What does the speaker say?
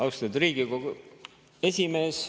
Austatud Riigikogu esimees!